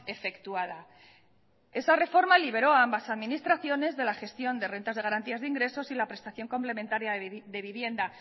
efectuada esa reforma liberó a amabas administraciones de la gestión de rentas de garantías de ingresos y la prestación complementaria de vivienda